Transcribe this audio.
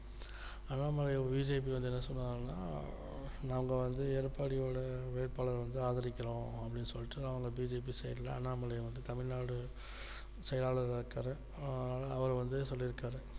Annamalai BJP வந்து என்ன சொன்னாங்கன்னா நாங்க வந்து எடப்பாடி ஓட வேட்பாளரை வந்து ஆதரிக்கிறோம் அப்படின்னு சொல்லிட்டு அவங்க BJP side ல அண்ணாமலை வந்து தமிழ்நாடு செயலாளராக இருக்கிறார் அதுனால அவர் வந்து சொல்லி இருக்காரு